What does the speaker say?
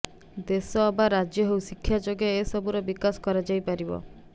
ଦେଶ ଅବା ରାଜ୍ୟ ହେଉ ଶିକ୍ଷା ଯୋଗେ ଏସବୁର ବିକାଶ କରାଯାଇପାରିବ